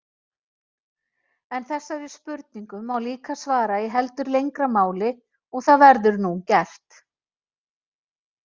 En þessari spurningu má líka svara í heldur lengra máli og það verður nú gert.